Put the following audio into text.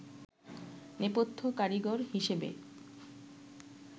নেপথ্য কারিগর হিসেবে